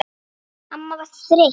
Amma var þreytt.